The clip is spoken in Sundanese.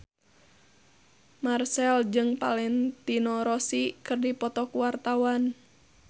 Marchell jeung Valentino Rossi keur dipoto ku wartawan